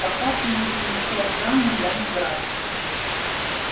пока ты не перешёл грани я не враг